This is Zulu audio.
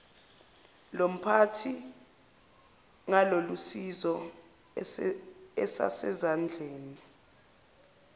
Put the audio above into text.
lomphathi ngalolusizo asezandleni